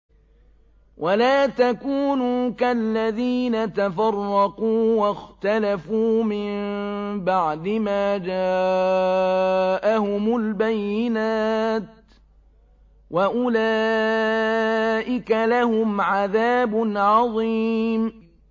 وَلَا تَكُونُوا كَالَّذِينَ تَفَرَّقُوا وَاخْتَلَفُوا مِن بَعْدِ مَا جَاءَهُمُ الْبَيِّنَاتُ ۚ وَأُولَٰئِكَ لَهُمْ عَذَابٌ عَظِيمٌ